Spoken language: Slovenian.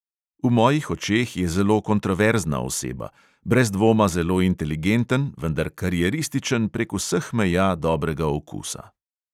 V mojih očeh je zelo kontroverzna oseba: brez dvoma zelo inteligenten, vendar karierističen prek vseh meja dobrega okusa.